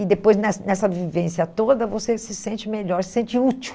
E depois, nessa nessa vivência toda, você se sente melhor, se sente útil.